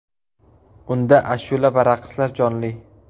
Unda ashula va raqslar jonli.